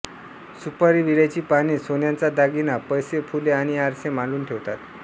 सुपारी विड्याची पाने सोन्याचा दागिना पैसे फुले आणि आरसे मांडून ठेवतात